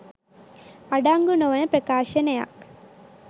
අඩංගු නො වන ප්‍රකාශනයක්